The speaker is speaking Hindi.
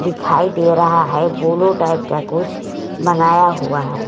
दिखाई दे रहा है ब्लू टाइप का कुछ बनाया हुआ है।